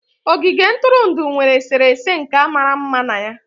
Ogige ntụrụndụ nwere eserese nka mara mma na ya.